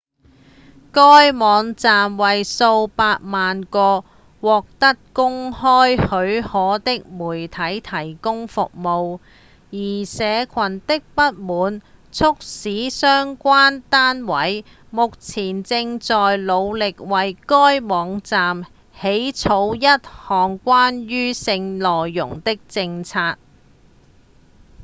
該網站為數百萬個獲得公開許可的媒體提供服務而社群的不滿促使相關單位目前正在努力為該網站起草一項關於性內容的政策